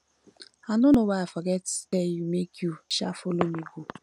i no know why i forget tell you make you um follow me go